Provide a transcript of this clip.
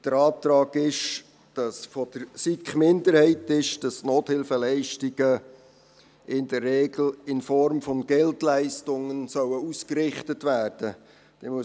Der Antrag der SiK-Minderheit lautet, dass die Nothilfeleistungen «in der Regel in Form von Geldleistungen» ausgerichtet werden sollen.